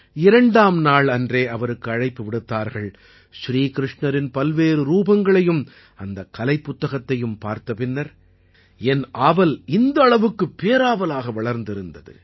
இரண்டாம் நாள் அன்றே அவருக்கு அழைப்பு விடுத்தார்கள் ஸ்ரீகிருஷ்ணரின் பல்வேறு ரூபங்களையும் அந்தக் கலைப்புத்தகத்தையும் பார்த்த பின்னர் என் ஆவல் இந்த அளவுக்கு பேராவலாக வளர்ந்திருந்தது